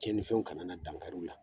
Cɛnnifɛnw kana na dan kari u la.